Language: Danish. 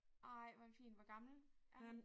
Ej hvor er den fin. Hvor gammel er han?